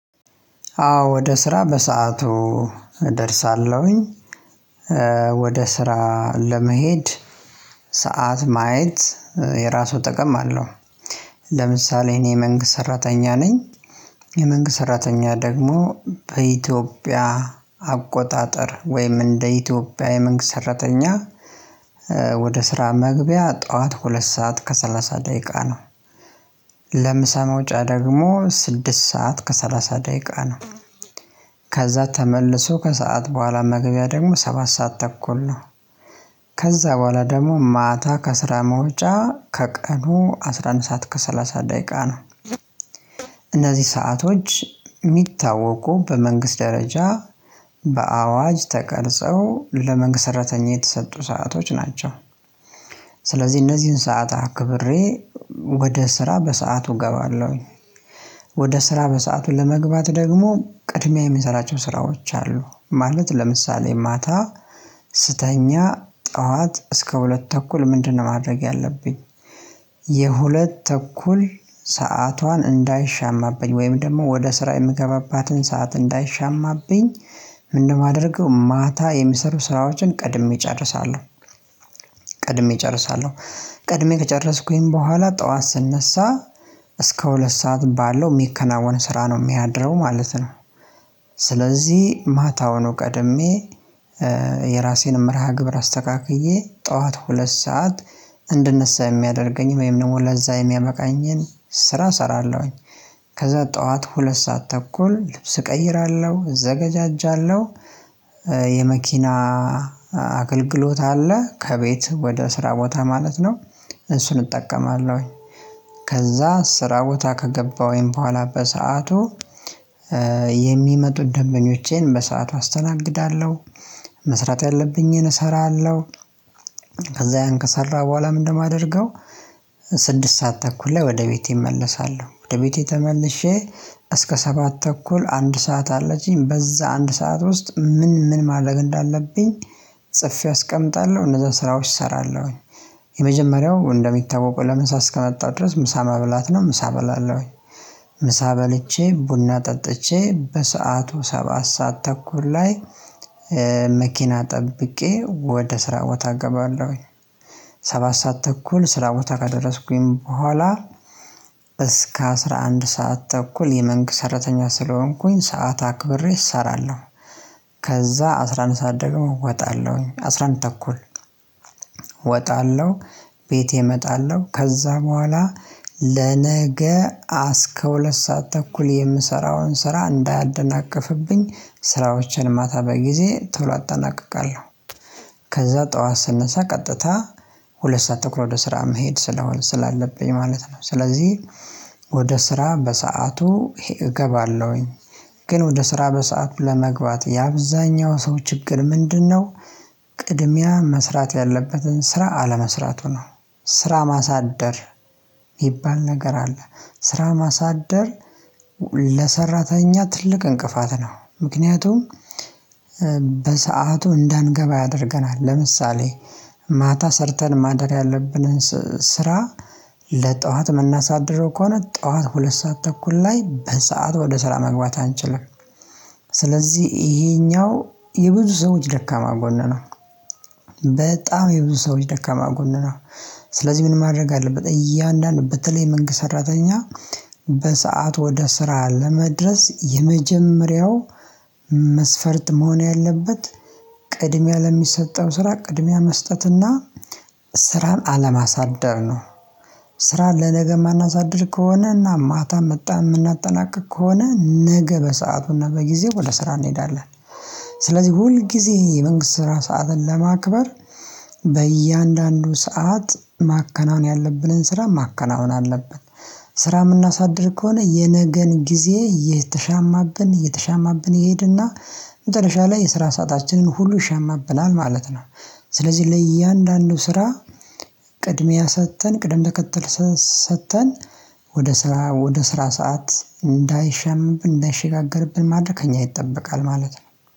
አዎ ወደ ስራ በሰአቱ እደርሳለሁኝ። ወደ ስራ ለመሄድ ሰዓት ማየት የራሱ ጥቅም አለው። ለምሳሌ እኔ የመንግስት ሰራተኛ ነኝ። የመንግስት ሰራተኛ ደግሞ በኢትዮጵያ አቆጣጠር ወይም እንደ ኢትዮጵያ የመንግስት ሰራተኛ ወደ ስራ መግቢያ ጠዋት ሁለት ሰዓት ከሰላሳ ደቂቃ ነው። ለምሳ መውጫ ደግሞ ስድስት ሰዓት ከሰላሳ ደቂቃ ነው። ከዛ ተመልሶ ከሰአት በኋላ መግቢያ ደግሞ ሰባት ሰዓት ተኩል ነው። ከዛ በኋላ ደግሞ ማታ ከስራ መውጫ ከቀኑ አስራ አንድ ሰዓት ከሰላሳ ደቂቃ ነው። ሰአቶች የሚታወቁ በመንግስት ደረጃ በአዋጅ ተቀርጸው ለመንግስት ሰራተኛ የተሰጡ ሰአቶች ናቸው። ስለዚህ እነዚህን ሰዓት አክብሬ ወደ ስራ በሰአቱ እገባለሁኝ። ወደ ስራ በሰአቱ ለመግባት ደግሞ ቅድሚያ የምሰራቸው ስራዎች አሉ። ማለት ለምሳሌ ማታ ስተኛ ጠዋት እስከ ሁለት ተኩል ምንድነው ማድረግ ያለብኝ? የሁለት ተኩል ሰዓቷን እንዳይሻማብኝ ወይም ደግሞ ወደ ስራ የምገባባትን ሰዓት እንዳይሻማብኝ። ምንድነው የማደርገው ማታ የሚሰሩ ስራዎችን ቀድሜ እጨርሳለሁ። ቀድሜ እጨርሳለሁ። ቀድሜ ከጨረስኩኝ በኋላ ጠዋት ስነሳ እስከ ሁለት ሰዓት ባለው የሚከናወን ስራ ነው የሚያድረው ማለት ነው። ስለዚህ ማታውኑ ቀድሜ የራሴን መርሃ ግብር አስተካክዬ ጠዋት ሁለት ሰዓት እንድነሳ የሚያደርገኝን ወይም ደግሞ ለዛ የሚያበቃኝን ስራ እሰራለሁኝ። ከዛ ጠዋት ሁለት ሰዓት ተኩል ልብስ እቀይራለ፤ እዘጋጃጃለሁ የመኪና አገልግሎት አለ። ከቤት ወደ ስራ ቦታ ማለት ነው። እሱን እጠቀማለሁኝ። ከዛ ስራ ቦታ ከገባሁኝ በኋላ በሰአቱ የሚመጡት ደንበኞቼን በሰአቱ አስተናግዳለሁ። መስራት ያለብኝን እሰራለሁ። ያን ከሰራሁ በኋላ ምንድነው የማደርገው ስድስት ሰዓት ተኩል ላይ ወደ ቤቴ እመለሳለሁ። ወደ ቤቴ ተመልሼ እስከ ሰባት ተኩል አንድ ሰዓት አለችኝ። በዛ አንድ ሰዓት ውስጥ ምን ምን ማድረግ እንዳለብኝ ጽፌ አስቀምጣለሁ። እነዛን ስራዎች እሰራለሁኝ። የመጀመሪያው እንደሚታወቀው ለምሳ እስከመጣው ድረስ ምሳ መብላት ነው። ምሳ እበላለሁኝ። ምሳ በልቼ፤ ቡና ጠጥቼ በሰአቱ ሰባት ሰዓት ተኩል ላይ መኪና ጠብቄ ወደ ስራ ቦታ እገባለሁኝ። ሰባት ሰዓት ተኩል ስራ ቦታ ከደረስኩኝ በኋላ እስከ አስራ አንድ ሰዓት ተኩል የመንግስት ሰራተኛ ስለሆንኩኝ ሰዓት አክብሬ እሰራለሁ። ከዛ አስራ አንድ ሰዓት ደግሞ ወጣለሁኝ። አስራ አንድ ተኩል ወጣለው። ቤቴ እመጣለሁ። ከዛ በኋላ ለነገ እስከ ሁለት ሰዓት ተኩል የምሰራውን ስራ እንዳያደናቅፍብኝ ስራዎቼን ማታ በጊዜ ቶሎ አጠናቅቃለሁ። ከዛ ጠዋት ስነሳ ቀጥታ ሁለት ሰዓት ተኩል ወደ ስራ መሄድ ስለሆን ስላለብኝ ማለት ነው። ስለዚህ ወደ ስራ በሰአቱ እገባለሁኝ። ግን ወደ ስራ በሰአቱ ለመግባት የአብዛኛው ሰው ችግር ምንድነው ቅድሚያ መስራት ያለበትን ስራ አለመስራቱ ነው። ስራ ማሳደር የሚባል ነገር አለ። ስራ ማሳደር ለሰራተኛ ትልቅ እንቅፋት ነው። ምክንያቱም በሰአቱ እንዳንገባ ያደርገናል። ለምሳሌ ማታ ሰርተን ማደር ያለብንን ስራ ለጠዋት የምናሳድረው ከሆነ ጠዋት ሁለት ሰዓት ተኩል ላይ በሰአቱ ወደ ስራ መግባት አንችልም። ስለዚህ ይሄኛው የብዙ ሰዎች ደካማ ጎን ነው። በጣም የብዙ ሰዎች ደካማ ጎን ነው። ስለዚህ ምን ማድረግ አለበት እያንዳንዱ በተለይ የመንግስት ሰራተኛ በሰአቱ ወደ ስራ ለመድረስ የመጀመሪያው መስፈርት መሆን ያለበት ቅድሚያ ለሚሰጠው ስራ ቅድሚያ መስጠትና ስራን አለማሳደር ነው። ስራን ለነገ የማናሳድር ከሆነ እና ማታ መጥተን የምናጠናቅቅ ከሆነ ነገ በሰአቱና በጊዜው ወደ ስራ እንሄዳለን። ስለዚህ ሁልጊዜ የመንግስት ስራ ሰዓትን ለማክበር በእያንዳንዱ ሰዓት ማከናወን ያለብንን ስራ ማከናወን አለብን። ስራ የምናሳድር ከሆነ የነገን ጊዜ እየተሻማብን እየተሻማብን ይሄድና መጨረሻ ላይ የስራ ሰአታችንን ሁሉ ይሻማብናል ማለት ነው። ስለዚህ ለእያንዳንዱ ስራ ቅድሚያ ሰጥተን ቅድም ተከተል ሰጥተን ወደ ስራ ወደ ስራ ሰዓት እንዳይሻማብን እንዳይሸጋገርብን ማድረግ ከእኛ ይጠበቃል ማለት ነው።